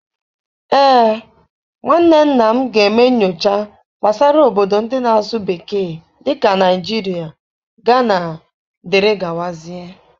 Ee, nwanne nna m ga-eme nyocha gbasara obodo ndị na-asụ bekee dị ka Naijiria, Ghana, dere gawa zie.